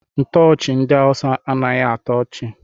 Ntoochi ndị awụsa anaghị atọ ọchị.